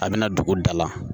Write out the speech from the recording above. A bɛna dugu dala